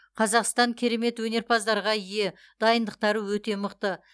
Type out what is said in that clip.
қазақстан керемет өнерпаздарға ие дайындықтары өте мықты